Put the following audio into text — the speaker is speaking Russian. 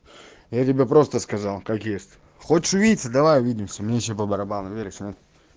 я тебе просто сказал как есть хочешь увидеться давай увидимся мы ваще по барабану веришь нет